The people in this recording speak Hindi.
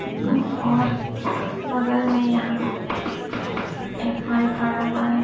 और बगल में यहां एक खड़ा हुआ है।